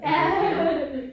Du ved iggå